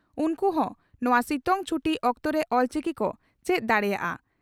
ᱩᱱᱠᱩ ᱦᱚᱸ ᱱᱚᱣᱟ ᱥᱤᱛᱩᱝ ᱪᱷᱩᱴᱤ ᱚᱠᱛᱚᱨᱮ ᱚᱞᱪᱤᱠᱤ ᱠᱚ ᱪᱮᱫ ᱫᱟᱲᱮᱭᱟᱜᱼᱟ ᱾